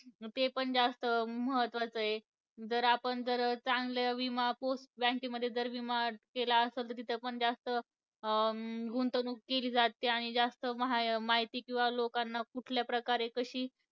ते पण जास्त महत्वाचेय. जर आपण जर चांगल्या विमा post bank मध्ये जर विमा केला आसंल तर, तिथं पण जास्त अं गुंतवणूक केली जाते. आणि जास्त मा माहिती किंवा लोकांना कुठल्या प्रकारे कशी